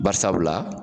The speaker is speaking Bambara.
Bari sabula